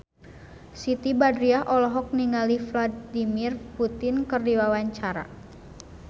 Siti Badriah olohok ningali Vladimir Putin keur diwawancara